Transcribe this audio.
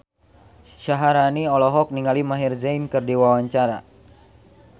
Syaharani olohok ningali Maher Zein keur diwawancara